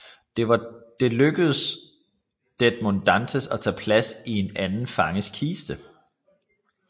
Det var lykkedes Edmond Dantès at tage plads i en anden fanges kiste